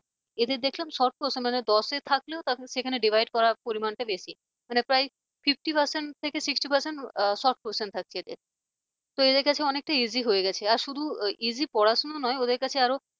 এরে দেখলাম short question মানে দশে থাকলেও সেখানে divided করার পরিমাণটা বেশি সেখানে প্রায় fifty percent থেকে sixty percent short question থাকছে এদের তো এদের কাছে অনেকটা easy হয়ে গেছে আর শুধু easy পড়াশোনা নয় এদের কাছে আরো